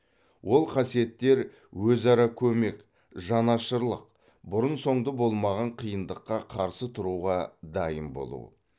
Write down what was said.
ол қасиеттер өзара көмек жанашырлық бұрын соңды болмаған қиындыққа қарсы тұруға дайын болу